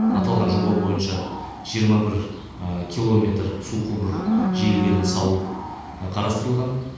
аталған жоба бойынша жиырма бір километр су құбыры желілерін салу қарастырылған